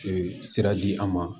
Ee sira di an ma